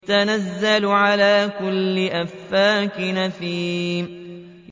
تَنَزَّلُ عَلَىٰ كُلِّ أَفَّاكٍ أَثِيمٍ